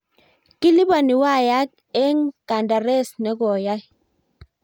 Kiliboni wayak eng kandaras nekoyai